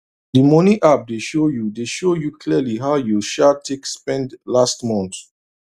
d money app dey show you dey show you clearly how you um take spend last month